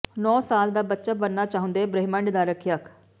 ੌਨੌਂ ਸਾਲ ਦਾ ਬੱਚਾ ਬਣਨਾ ਚਾਹੁੰਦੈ ਬ੍ਰਹਿਮੰਡ ਦਾ ਰੱਖਿਅਕ